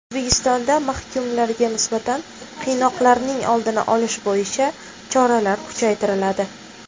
O‘zbekistonda mahkumlarga nisbatan qiynoqlarning oldini olish bo‘yicha choralar kuchaytiriladi.